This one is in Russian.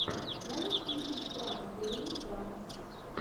можешь включить пранк гейм грампс